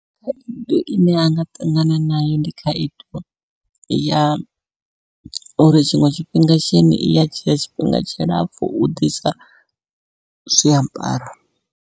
Khaedu ine a nga ṱangana nayo ndi khaedu ya uri tshiṅwe tshifhinga S_H_E_I_N iya dzhia tshifhinga tshilapfhu u ḓisa zwiambaro.